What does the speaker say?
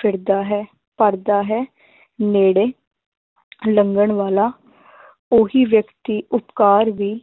ਫਿਰਦਾ ਹੈ ਕਰਦਾ ਹੈ ਨੇੜੇ ਲੰਘਣ ਵਾਲਾ ਉਹੀ ਵਿਅਕਤੀ ਉਪਕਾਰ ਵੀ